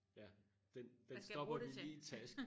Ja den den stopper hun lige i tasken